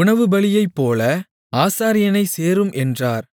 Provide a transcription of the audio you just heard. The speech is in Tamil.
உணவுபலியைப்போல ஆசாரியனைச் சேரும் என்றார்